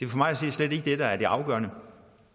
for mig at se slet ikke det der er det afgørende